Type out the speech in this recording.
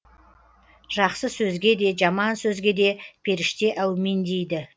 жақсы сөзге де жаман сөзге де періште әумин дейді